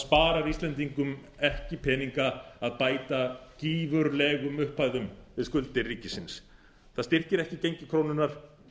sparar íslendingum ekki peninga að bæta gífurlegum upphæðum við skuldir ríkisins það styrkir ekki gengi krónunnar